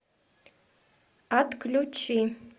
отключи